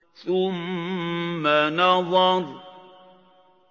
ثُمَّ نَظَرَ